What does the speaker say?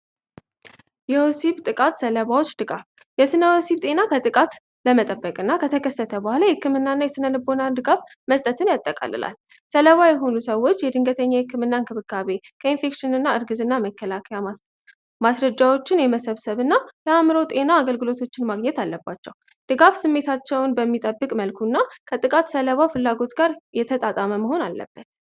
የዮሲብ ጥቃት ሰለባዎች ድጋፍ የስነዮሲብ ጤና ከጥቃት ለመጠበቅ እና ከተከሰተ በኋላ ሕክምናእና የስነንቦናድጋፍ መስጠትን ያጠቃልላል ሰለባ የሆኑ ሰዎች የድንገተኛ ሕክምናን ክብካቤ ከኢንፌክሽን እና እርግዝ እና መከላከያ ማስረጃዎችን የመሰብሰብ እና ለአምሮ ጤና አገልግሎቶችን ማግኘት አለባቸው ድጋፍ ስሜታቸውን በሚጠብቅ መልኩ እና ከጥቃት ሰለባው ፍላጎት ጋር የተጣጣመ መሆን አለበት።